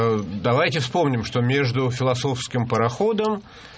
ээ давайте вспомним что между философским пароходом